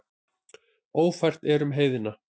Ófært er um heiðina.